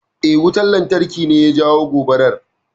Eh, wutan lantarki ne ya jawo gobarar.